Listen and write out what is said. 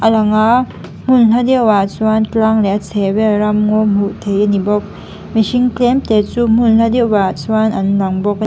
langa hmun hla deuhah chuan tlang leh a chhehvel ramngaw hmuh theih a ni bawk mihring tlem te chu hmun hla deuhah chuan an lang bawk a ni.